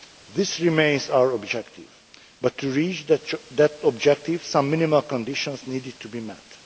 This remains our objective, but, to reach that objective, some minimal conditions needed to be